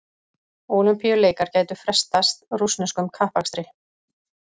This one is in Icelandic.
Ólympíuleikar gætu frestað rússneskum kappakstri